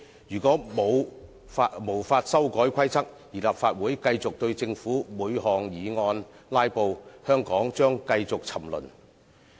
如果無法修改《議事規則》，而立法會繼續對政府的每項議案"拉布"，香港將繼續沉淪。